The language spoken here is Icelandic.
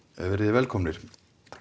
velkomnir